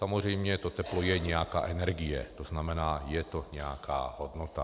Samozřejmě to teplo je nějaká energie, to znamená, je to nějaká hodnota.